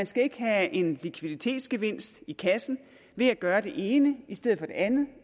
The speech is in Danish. skal have en likviditetsgevinst i kassen ved at gøre det ene i stedet for det andet